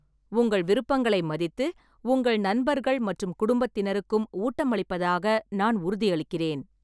உங்கள் விருப்பங்களை மதித்து, உங்கள் நண்பர்கள் மற்றும் குடும்பத்தினருக்கும் ஊட்டமளிப்பதாக நான் உறுதியளிக்கிறேன்.